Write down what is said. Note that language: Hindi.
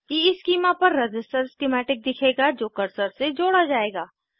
ईस्कीमा पर रज़िस्टर स्किमैटिक दिखेगा जो कर्सर से जोड़ा जायेगा